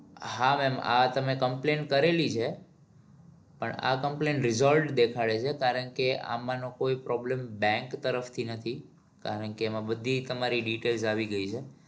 હા ma'am આ તમે complaint કરેલી છે પણ આ complaint resolved દેખાડે છે કારણ કે આમાં નો કોઈ problem bank તરફથી નથી કારણ કે એમાં બધી તમારી detail આવી ગઈ છે.